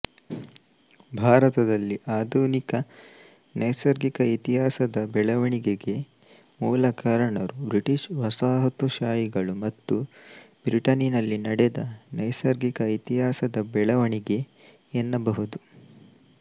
ಭಾರತದಲ್ಲಿ ಆಧುನಿಕ ನೈಸರ್ಗಿಕ ಇತಿಹಾಸದ ಬೆಳವಣಿಗೆಗೆ ಮೂಲಕಾರಣರು ಬ್ರಿಟಿಶ್ ವಸಾಹತುಶಾಹಿಗಳು ಮತ್ತು ಬ್ರಿಟನ್ನಿನಲ್ಲಿ ನಡೆದ ನೈಸರ್ಗಿಕ ಇತಿಹಾಸದ ಬೆಳವಣಿಗೆ ಎನ್ನಬಹುದು